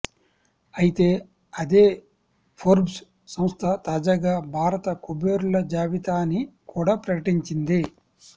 అయితే అదే ఫోర్బ్స్ సంస్థ తాజాగా భారత కుబేరుల జాబితాని కూడా ప్రకటించింది